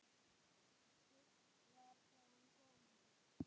Spurt var: Hvaðan kom hann.